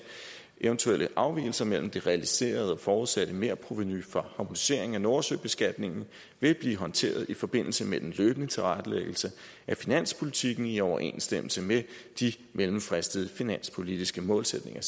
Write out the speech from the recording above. eventuelle afvigelser mellem det realiserede og forudsatte merprovenu fra harmoniseringen af nordsø beskatningen vil blive håndteret i forbindelse med den løbende tilrettelæggelse af finanspolitikken i overensstemmelse med de mellemfristede finanspolitiske målsætninger